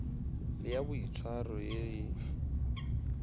le ya boitshwaro ye e